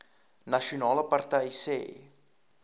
nasionale party sê